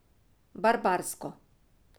Barbarsko.